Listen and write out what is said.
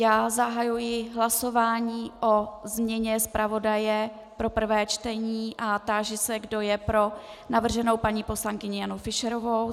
Já zahajuji hlasování o změně zpravodaje pro prvé čtení a táži se, kdo je pro navrženou paní poslankyni Janu Fischerovou.